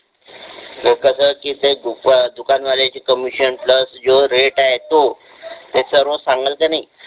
ते कसं की ते दुकान वाल्याचा कमिशन प्लस रेट आहे तो त्याच्यावरच सांगेल का नाही